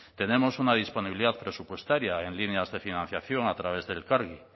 tenemos una disponibilidad presupuestaria en líneas de financiación a través de elkargi